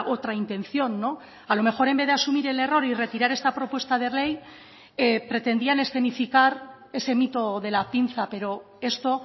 otra intención a lo mejor en vez de asumir el error y retirar esta propuesta de ley pretendían escenificar ese mito de la pinza pero esto